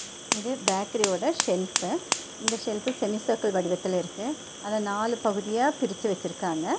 இது பேக்ரி ஓட செல்ஃபு இந்த செல்ஃபு செமி சர்க்கிள் வடிவத்துல இருக்கு அத நாலு பகுதியா பிரிச்சு வெச்சுருக்காங்க.